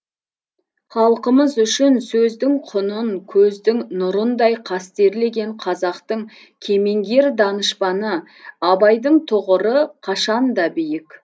халқымыз үшін сөздің құнын көздің нұрындай қастерлеген қазақтың кемеңгер данышпаны абайдың тұғыры қашанда биік